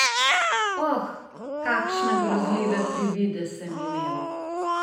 Oh, kakšne grozljive privide sem imel!